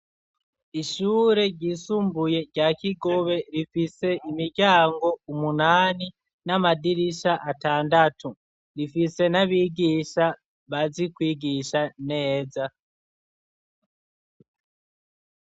Ishure ryisumbuye rya kigobe rifise imiryango umunani n'amadirisha atandatu rifise n'abigisha bazikwigisha neza.